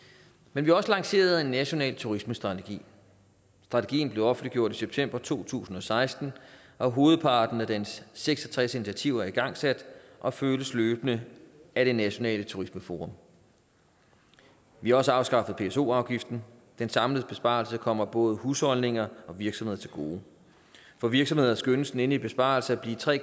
men vi har også lanceret en national turismestrategi strategien blev offentliggjort i september to tusind og seksten og hovedparten af dens seks og tres initiativer er igangsat og følges løbende af det nationale turismeforum vi har også afskaffet pso afgiften den samlede besparelse kommer både husholdninger og virksomheder til gode for virksomheder skønnes den endelige besparelse at blive tre